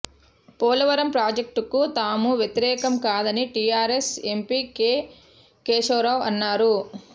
పోలవరం ప్రాజెక్టుకు తాము వ్యతిరేకం కాదని టీఆర్ఎస్ ఎంపీ కే కేశవ రావు అన్నారు